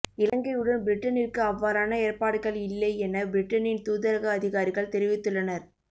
இலங்கையுடன் பிரிட்டனிற்கு அவ்வாறான ஏற்பாடுகள் இல்லை என பிரிட்டனின் தூதரக அதிகாரிகள் தெரிவித்துள்ளனர்